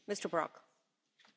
Frau Präsidentin!